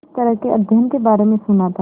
इस तरह के अध्ययन के बारे में सुना था